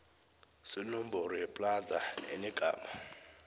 senomboro yeplada enegama